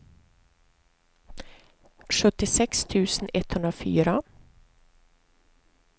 sjuttiosex tusen etthundrafyra